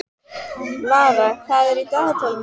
Lara, hvað er í dagatalinu í dag?